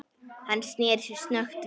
Hann sneri sér snöggt við.